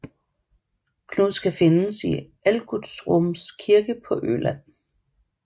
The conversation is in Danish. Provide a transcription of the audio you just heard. Knud skal findes i Algutsrums kirke på Øland